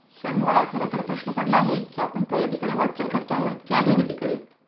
sir मला खरं तर प्रश्न पडला आहे की आपण प्रगतीकडे वाटचाल करतो आहोत की अधोगतीकडे